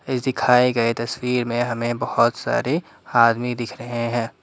इस दिखाए गए तस्वीर में हमें बहुत सारे आदमी दिख रहे हैं।